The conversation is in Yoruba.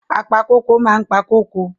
Apa kóko máa ń pa kóko.